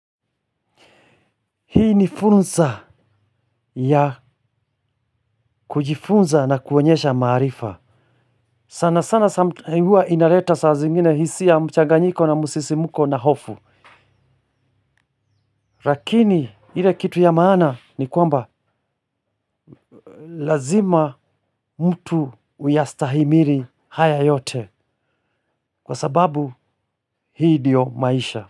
Hii ni fursa ya kujifunza na kuonyesha maarifa sana sana hua inaleta saa zingine hisia ya mchanganyiko na msisimuko na hofu lakini ile kitu ya maana ni kwamba lazima mtu uyastahimili haya yote kwa sababu hii ndio maisha.